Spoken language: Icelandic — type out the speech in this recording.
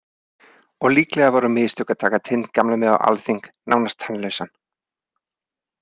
Og líklega voru mistök að taka Tind gamla með á alþing, nánast tannlausan.